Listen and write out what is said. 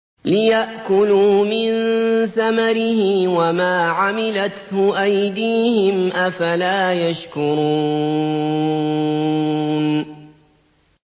لِيَأْكُلُوا مِن ثَمَرِهِ وَمَا عَمِلَتْهُ أَيْدِيهِمْ ۖ أَفَلَا يَشْكُرُونَ